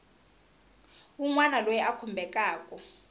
wun wana loyi a khumbekaku